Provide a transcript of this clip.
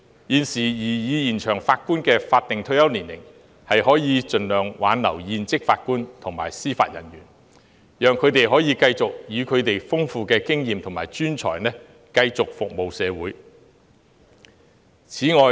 現時建議延長法官的法定退休年齡，可以盡量挽留現職法官及司法人員，讓他們可以繼續以其豐富的經驗及專才服務社會。